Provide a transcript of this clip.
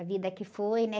A vida que foi, né?